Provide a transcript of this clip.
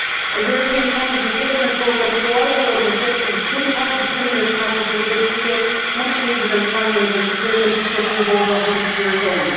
A European funded replacement programme throughout our older cities could be part of a stimulus package, and would create much needed employment and replace infrastructure that is over a hundred years old.